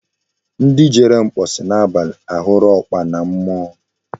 Ndi Jere mkposi na abali huru okpana mmuo